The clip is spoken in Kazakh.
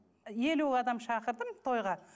елу адам шақырдым тойға